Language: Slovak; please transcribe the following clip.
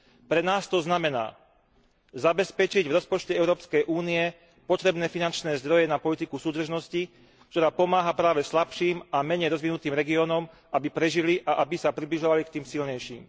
Pre nás to znamená zabezpečiť v rozpočte Európskej únie potrebné finančné zdroje na politiku súdržnosti, ktorá pomáha práve slabším a menej rozvinutým regiónom, aby prežili a aby sa približovali k tým silnejším